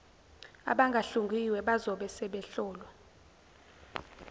abangahlungiwe bazobe sebehlolwa